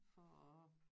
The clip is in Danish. For at